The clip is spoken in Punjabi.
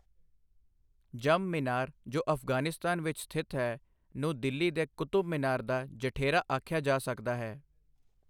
ਜਮ ਮੀਨਾਰ ਜੋ ਅਫ਼ਗਾਨਿਸਤਾਨ ਵਿੱਚ ਸਥਿਤ ਹੈ ਨੂੰ ਦਿੱਲੀ ਦੇ ਕੁਤਬ ਮੀਨਾਰ ਦਾ ਜਠੇਰਾ ਆਖਿਆ ਜਾ ਸਕਦਾ ਹੈ।